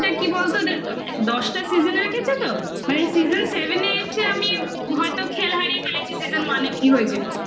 কি বলতো দশটা season -এ দেখেছি তো মানে season seven eight এ আমি হয়তো খেল হারিয়ে ফেলেছি season one -এ কি হয়েছিল